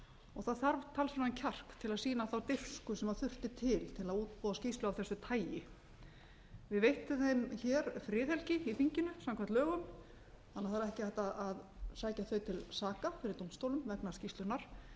og það þarf talsverðan kjark til að sýna þá dirfsku sem þurfti til til að útbúa skýrslu af þessu tagi við veittum þeim hér friðhelgi i þinginu samkvæmt lögum þannig að það er ekki hægt að sækja þau til saka fyrir dómstólum vegna skýrslunnar en